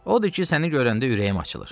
Odur ki, səni görəndə ürəyim açılır.